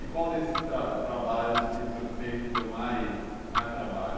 E qual desses trabalhos que o senhor fez que deu mais... Mais trabalho?